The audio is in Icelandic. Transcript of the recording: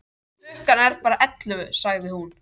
Klukkan er bara ellefu, sagði hún.